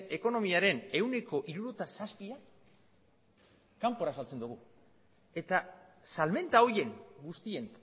ekonomiaren ehuneko hirurogeita zazpiak kanpora saltzen dugu eta salmenta horien guztien